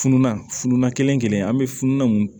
Fununan fununa kelen kelen an bɛ fununnan mun